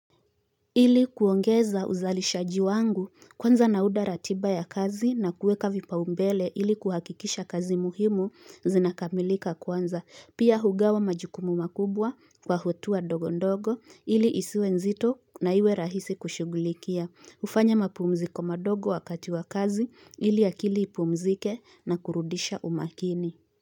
Ili kuongeza uzalishaji wangu kwanza naunda ratiba ya kazi na kuweka vipao mbele ili kuhakikisha kazi muhimu zinakamilika kwanza. Pia hugawa majukumu makubwa kwa hatua ndogo ndogo ili isiwe nzito na iwe rahisi kushugulikia. Hufanya mapumziko madogo wakati wa kazi ili akili ipumzike na kurudisha umakini.